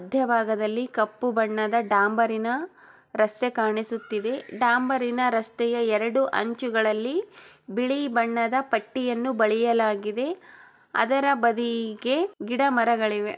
ಮಧ್ಯಭಾಗದಲ್ಲಿ ಕಪ್ಪು ಬಣ್ಣದ ಡಾಂಬರ್ ನ ರಸ್ತೆ ಕಾಣಿಸುತ್ತಿದೆ ಡಾಂಬರಿನ ರಸ್ತೆಯ ಎರಡು ಅಂಚುಗಳಲ್ಲಿ ಬಿಳಿ ಬಣ್ಣದ ಪಟ್ಟಿಯನ್ನು ಬರೆಯಲಾಗಿದೆ ಅದರ ಬದಲಿಗೆ ಗಿಡಮರಗಳಿವ.